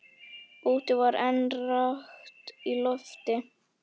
Úti var enn rakt í lofti.